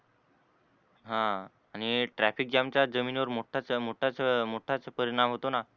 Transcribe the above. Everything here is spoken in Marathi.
ह आणि traffic jam चा जमिनीवर मोठाच मोठाच मोठाच परिणाम होतो ना?